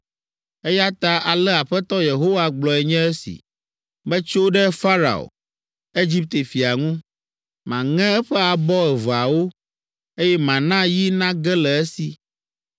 Eya ta ale Aƒetɔ Yehowa gblɔe nye esi: ‘Metso ɖe Farao, Egipte fia ŋu. Maŋe eƒe abɔ eveawo, eye mana yi nage le esi.